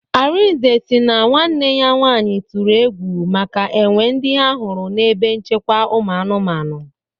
Arinze si na nwanne ya nwanyị tụrụ egwu maka enwe ndị ha hụrụ n'ebe nchekwa ụmụ anụmanụ